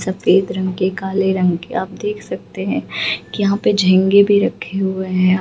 सफेद रंग के काले रंग के आप देख सकते हैं कि यहां पे झींगे भी रखे हैं।